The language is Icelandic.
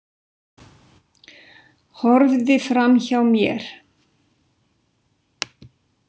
Horfði framhjá mér.